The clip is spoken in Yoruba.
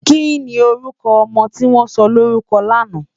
Kini órùkò òmò tiwòn sòlórùkò làná?